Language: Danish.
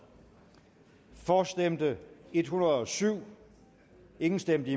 for stemte en hundrede og syv imod stemte